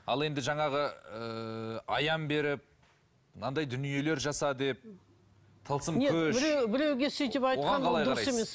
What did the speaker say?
ал енді жаңағы ыыы аян беріп мынандай дүниелер жаса деп тылсым күш біреу біреуге сөйтіп айтқан ол дұрыс емес